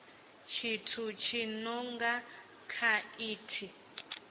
tshithu tshi no nga khaithi